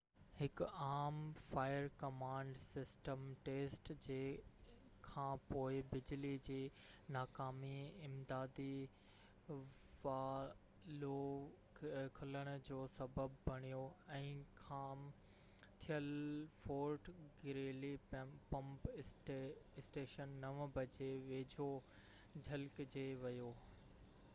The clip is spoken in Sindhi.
هڪ عام فائر ڪمانڊ سسٽم ٽيسٽ جي کان پوءِ بجلي جي ناڪامي امدادي والوو کلڻ جو سسب بڻيو ۽ خام تيل فورٽ گريلي پمپ اسٽيشن 9 جي ويجهو ڇلڪجي ويو